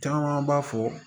Caman b'a fɔ